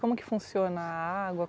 Como que funciona a água?